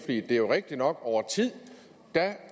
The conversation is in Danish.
det er jo rigtigt nok at over tid